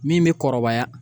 Min bɛ kɔrɔbaya